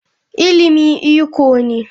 Ilimi iko ne.